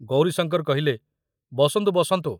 ଗୌରୀଶଙ୍କର କହିଲେ, ବସନ୍ତୁ, ବସନ୍ତୁ।